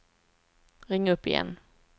ring upp igen